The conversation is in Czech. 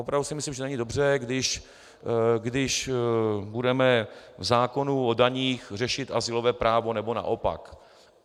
Opravdu si myslím, že není dobře, když budeme v zákonu o daních řešit azylové právo, nebo naopak.